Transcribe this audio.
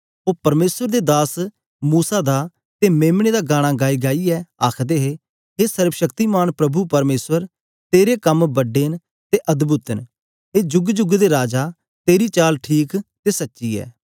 ओ परमेसर दे दास मूसा दा ते मेम्ने दा गाना गाइगाइयै आखदे हे हे सर्वशक्तिमान प्रभु परमेसर तेरे कम बड़ा ते अद्भुत न हे जुग जुग दे राजा तेरी चाल ठीक ते सच्ची ऐ